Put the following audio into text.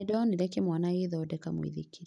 Nĩndonire kĩmwana gĩgĩthondeka mũithikiri